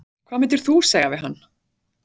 Hvað myndir þú segja við hann?